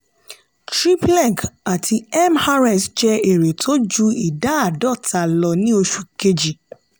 trippleg àti mrs jẹ èrè tó ju ìdá àádọ́ta lọ ní oṣù kejì.